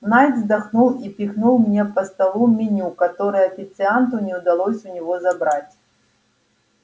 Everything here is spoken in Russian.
найд вздохнул и пихнул мне по столу меню которое официанту не удалось у него забрать